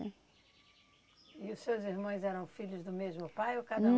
E os seus irmões eram filhos do mesmo pai ou cada um?